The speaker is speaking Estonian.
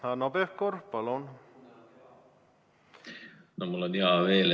Hanno Pevkur, palun!